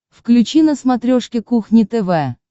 включи на смотрешке кухня тв